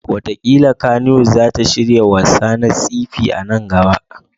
Wataƙila Kannywood za ta shirya wassa na sci-fi a nan gaba.